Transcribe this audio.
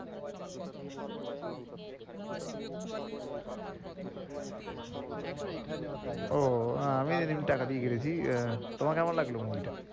সেটা তো এখনেও তাই হয়। ও আমি সেদিন টাকা দিয়ে কেটেছি, তোমার কেমন লাগলো movie টা?